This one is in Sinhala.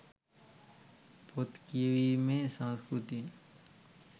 පොත් කියවීමේ සංස්කෘතියෙන්